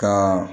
Ka